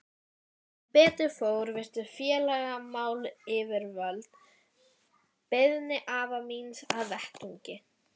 Sem betur fór virtu félagsmálayfirvöld beiðni afa míns að vettugi.